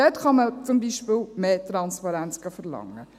Dort kann man zum Beispiel mehr Transparenz verlangen.